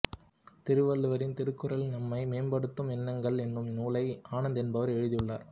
திருவள்ளுவரின் திருக்குறளில் நம்மை மேம்படுத்தும் எண்ணங்கள் என்னும் நூலை ஆனந்த் என்பவர் எழுதியுள்ளார்